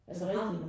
Er det rigtigt?